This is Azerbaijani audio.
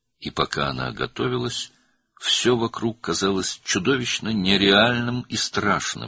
və o hazırlaşarkən, ətrafdakı hər şey dəhşətli dərəcədə qeyri-real və qorxunc görünürdü.